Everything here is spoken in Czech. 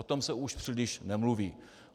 O tom se už příliš nemluví.